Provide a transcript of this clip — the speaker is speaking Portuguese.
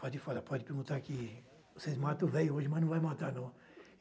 Pode falar, pode perguntar que vocês matam o véio hoje, mas não vai matar, não.